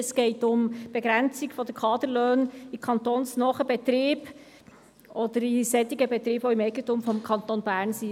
Es geht um die Begrenzung der Kaderlöhne in kantonsnahen Betrieben oder in solchen, die sich im Eigentum des Kantons Bern befinden.